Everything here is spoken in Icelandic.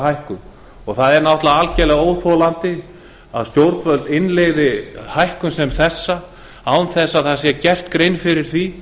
hækkun og það er algerlega óþolandi að stjórnvöld innleiði hækkun sem þessa án þess að gerð sé grein fyrir því